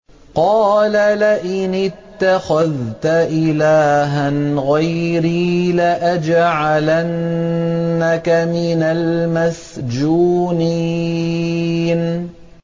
قَالَ لَئِنِ اتَّخَذْتَ إِلَٰهًا غَيْرِي لَأَجْعَلَنَّكَ مِنَ الْمَسْجُونِينَ